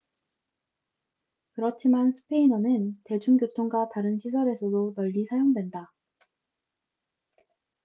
그렇지만 스페인어는 대중교통과 다른 시설에서도 널리 사용된다